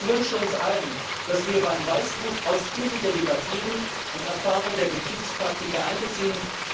Ich wünsche uns allen, dass wir beim Weißbuch ausführlicher debattieren und Erfahrungen der Betriebspraktika einbeziehen.